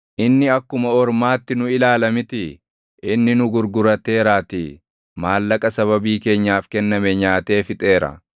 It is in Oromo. Inni akkuma ormaatti nu ilaala mitii? Inni nu gurgurateeraatii maallaqa sababii keenyaaf kenname nyaatee fixeera.